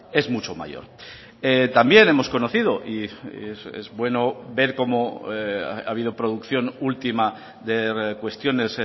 es mucho mayor también hemos conocido y es bueno ver cómo ha habido producción última de cuestiones